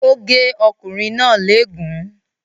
Ó gé ọkùnrin náà léègún.